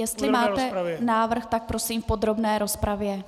Jestli máte návrh, tak prosím v podrobné rozpravě.